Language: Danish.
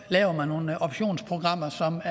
laver nogle optionsprogrammer